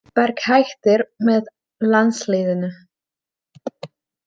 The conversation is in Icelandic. Park hættir með landsliðinu